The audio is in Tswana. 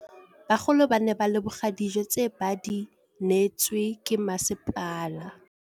Bagolo ba ne ba leboga dijô tse ba do neêtswe ke masepala.